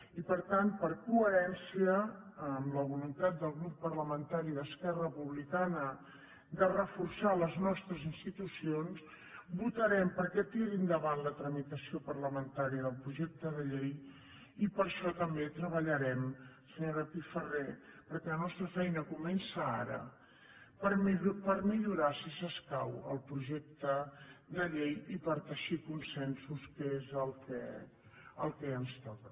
i per tant per coherència amb la voluntat del grup parlamentari d’esquerra republicana de reforçar les nostres institucions votarem perquè tiri endavant la tramitació parlamentària del projecte de llei i per això també treballarem senyora pifarré perquè la nostra feina comença ara per millorar si s’escau el projecte de llei i per teixir consensos que és el que ens toca